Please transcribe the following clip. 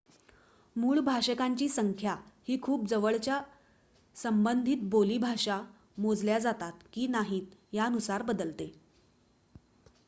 मूळ भाषकांची संख्या ही खूप जवळच्या संबंधित बोली भाषा मोजल्या जातात की नाहीत यानुसार बदलते